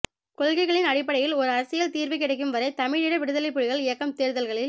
கொள்கைகளின் அடிப்படையில் ஒரு அரசியல் தீர்வு கிடைக்கும் வரை தமிழீழ விடுதலைப் புலிகள் இயக்கம் தேர்தல்களில்